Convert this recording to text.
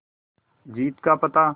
जीत का पता